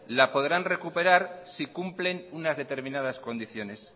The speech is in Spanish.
la podrán recuperar si cumplen unas determinadas condiciones